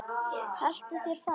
Haltu þér fast.